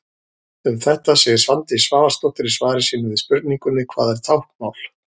Um þetta segir Svandís Svavarsdóttir í svari sínu við spurningunni: Hvað er táknmál?